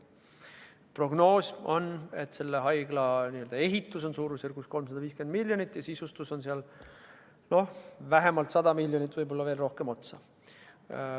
Prognoosi järgi on haigla ehituse maksumus umbes 350 miljonit eurot ja sisustus vähemalt 100 miljonit eurot veel otsa.